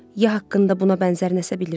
Ya haqqında buna bənzər nəsə bilirdim.